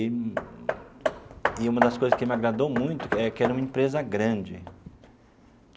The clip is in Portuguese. E e uma das coisas que me agradou muito é que era uma empresa grande.